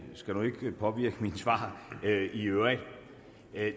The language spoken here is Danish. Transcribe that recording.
skal nu ikke påvirke mit svar i øvrigt